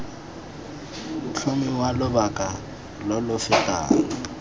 tlhomiwa lobaka lo lo fetang